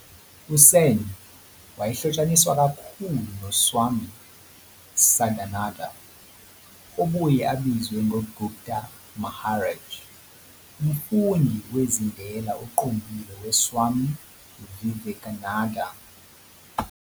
USen wayehlotshaniswa kakhulu no-Swami Sadananda, obuye abizwe ngoGupta Maharaj, umfundi wezindela oqondile we-Swami Vivekananda.